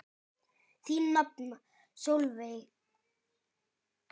Þín nafna Sólveig María.